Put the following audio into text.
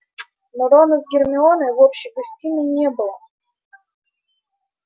но рона с гермионой в общей гостиной не было